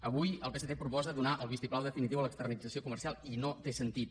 avui el psc proposa donar el vistiplau definitiu a l’externalització comercial i no té sentit